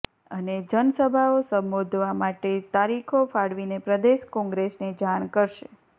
અને જનસભાઓ સંબોધવા માટે તારીખો ફાળવીને પ્રદેશ કોંગ્રેસને જાણ કરશે